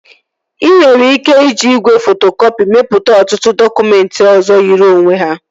Ị nwere ike iji igwe fotokọpị mepụta ọtụtụ dọkụmentị ọzọ yiri onwe ha